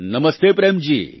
નમસ્તે પ્રેમ જી